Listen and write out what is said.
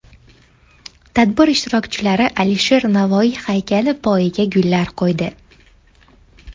Tadbir ishtirokchilari Alisher Navoiy haykali poyiga gullar qo‘ydi.